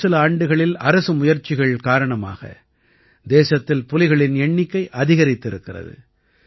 கடந்த சில ஆண்டுகளில் அரசு முயற்சிகள் காரணமாக தேசத்தில் புலிகளின் எண்ணிக்கை அதிகரித்திருக்கிறது